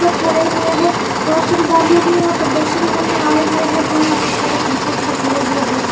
पर खड़े हुए हैं औरशन दालू भी यहां पर दर्शन करने आए हुए हैं जो यहां पर फोटो खींचने के लिए खड़े हुए हैं।